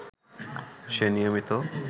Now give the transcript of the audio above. সে নিয়মিত